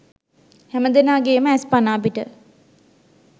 හැමදෙනාගේම ඇස් පනාපිට